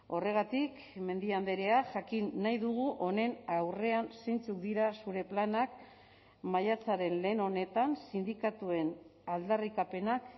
horregatik mendia andrea jakin nahi dugu honen aurrean zeintzuk dira zure planak maiatzaren lehen honetan sindikatuen aldarrikapenak